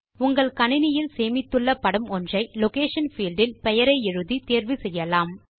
உங்கள் கணினியில் சேமித்துள்ள படம் ஒன்றை லொகேஷன் பீல்ட் இல் பெயரை எழுதி தேர்வு செய்யலாம்